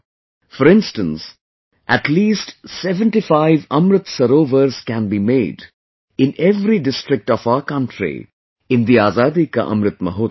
For instance, at least 75 Amrit Sarovars can be made in every district of our country in the Azadi ka Amrit Mahotsav